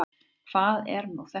Hvað er nú þetta?